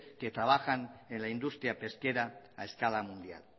que trabajan en la industria pesquera a escala mundial